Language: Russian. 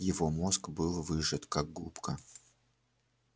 его мозг был выжат как губка